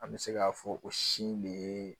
An bɛ se k'a fɔ o si in de ye